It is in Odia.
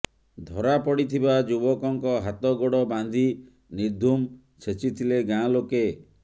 ଧରା ପଡ଼ିଥିବା ଯୁବକଙ୍କ ହାତ ଗୋଡ଼ ବାନ୍ଧି ନିର୍ଧୂମ ଛେଚିଥିଲେ ଗାଁ ଲୋକେ